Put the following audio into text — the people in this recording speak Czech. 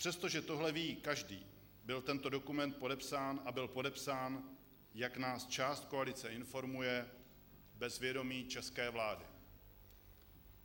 Přestože tohle ví každý, byl tento dokument podepsán, a byl podepsán, jak nás část koalice informuje, bez vědomí české vlády.